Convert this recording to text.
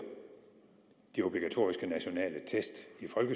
de obligatoriske nationale test